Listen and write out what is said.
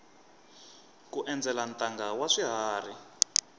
ku endzela ntanga wa swiharhi